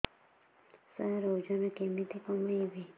ସାର ଓଜନ କେମିତି କମେଇବି